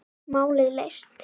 Málið leyst.